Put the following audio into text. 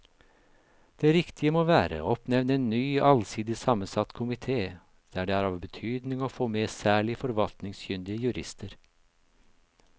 Det riktige må være å oppnevne en ny allsidig sammensatt komite der det er av betydning å få med særlig forvaltningskyndige jurister.